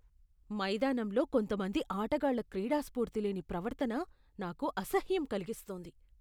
మైదానంలో కొంతమంది ఆటగాళ్ళ క్రీడాస్పూర్తి లేని ప్రవర్తన నాకు అసహ్యం కలిగిస్తోంది.